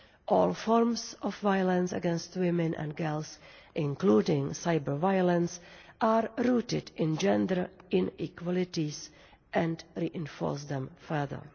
All forms of violence against women and girls, including cyber violence, are rooted in gender inequalities and reinforce them further.